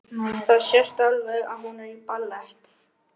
Það sést alveg að hún er í ballett.